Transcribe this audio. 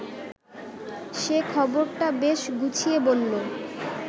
সে খবরটা বেশ গুছিয়ে বলল